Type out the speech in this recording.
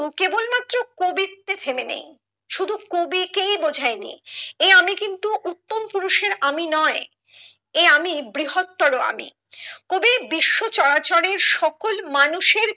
কেবল মাত্র কবিত্বে থেমে নেই শুধু কবিকেই বোঝাই নি এই আমি কিন্তু উত্তম পুরুষের আমি নয় এই আমি বৃহত্তর আমি কবি বিশ্ব চরাচরের সকল মানুষের